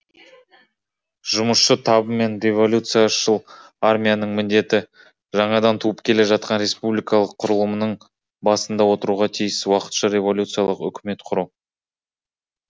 жұмысшы табы мен революцияшыл армияның міндеті жаңадан туып келе жатқан республикалық құрылымының басында отыруға тиіс уақытша революциялық үкімет құру